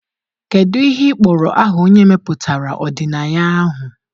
Kedu ihe ị kpọrọ aha onye mepụtara ọdịnaya ahụ?